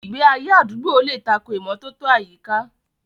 Ìgbé ayé àdúgbò lè tako ìmọ́tótó àyíká.